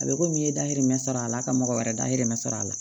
A bɛ komi i ye dayirimɛ sɔrɔ a la ka mɔgɔ wɛrɛ dahirimɛ sɔrɔ a la